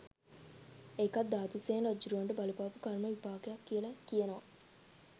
ඒකත් ධාතුසේන රජ්ජුරුවන්ට බලපාපු කර්ම විපාකයක් කියල කියනවා.